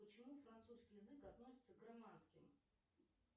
почему французский язык относится к романским